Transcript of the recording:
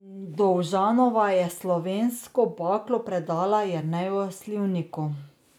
Dovžanova je slovensko baklo predala Jerneju Slivniku.